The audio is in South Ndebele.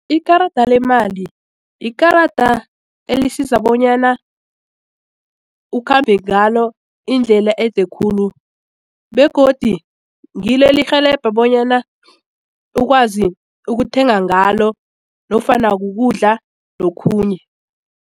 Ikarada lemali yikarada elisiza bonyana ukhambe ngalo indlela ede khulu begodi ngilo elirhelebha bonyana ukwazi ukuthenga ngalo nofana kukudla nokhunye.